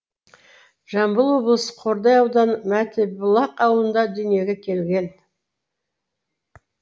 жамбыл облысы қордай ауданы мәтібұлақ ауылында дүниеге келген